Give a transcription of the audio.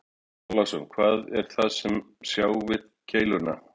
Björn Þorláksson: Hvað er það sem sjá við keiluna?